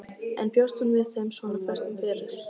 En bjóst hún við þeim svona föstum fyrir?